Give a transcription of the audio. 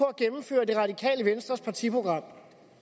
at gennemføre det radikale venstres partiprogram